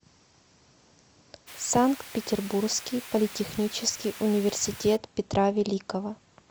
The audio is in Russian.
санкт петербургский политехнический университет петра великого